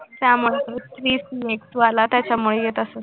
त्यामुळे त्याच्यामुळे येतं असेल